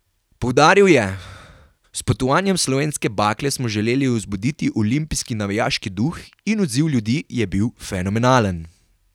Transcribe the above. Poudaril je: "S potovanjem slovenske bakle smo želeli vzbuditi olimpijski navijaški duh in odziv ljudi je bil fenomenalen.